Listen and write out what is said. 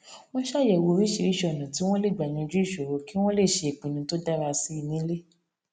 wón ṣàyèwò oríṣiríṣi ònà tí wón lè gbà yanjú ìṣòro kí wón lè ṣe ìpinnu tó dára sí i nílé